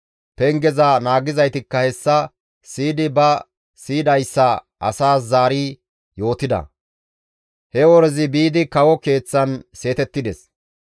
Pengeza naagizaytikka hessa siyidi ba siyidayssa asaas zaari yootida; he worezi biidi kawo keeththan seetettides.